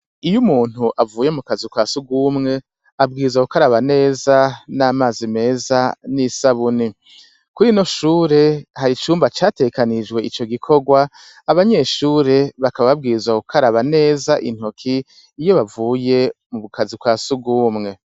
Iyo umuntu avuye mu kazu kasugumwe abwiza kukaraba neza n'amazi meza n'isabuni kuri no shure hari icyumba cyatekanijwe icyo gikorwa abanyeshure bakaba babwiza kukaraba neza intoki iyo bavuye mu bukazi kwa suguwumwe